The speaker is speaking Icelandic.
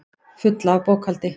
Fulla af bókhaldi.